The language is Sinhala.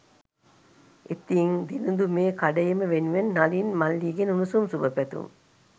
ඉතිං දිනිඳු මේ කඩඉම වෙනුවෙන් නලින් මල්ලිගෙන් උණුසුම් සුභ පැතුම්